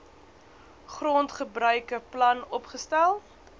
grondgebruike plan opgestel